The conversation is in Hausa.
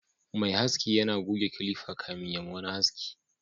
mai haski yana goge kilifa kafin ya ma wani haski